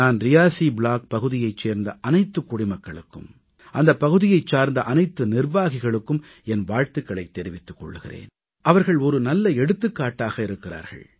நான் ரியாசீ ப்ளாக் பகுதியைச் சேர்ந்த அனைத்துக் குடிமக்களுக்கும் அந்தப் பகுதியைச் சார்ந்த அனைத்து நிர்வாகிகளுக்கும் என் வாழ்த்துக்களைத் தெரிவித்துக் கொள்கிறேன் அவர்கள் நல்ல எடுத்துக்காட்டாக இருக்கிறார்கள்